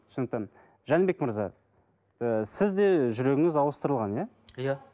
түсінікті жәнібек мырза і сіз де жүрегіңіз ауыстырылған иә иә